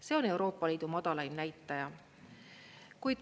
See on Euroopa Liidu madalaim näitaja.